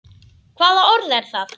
Hvaða orð er það?